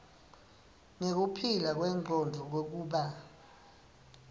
nekuphila kwengcondvo kwekuba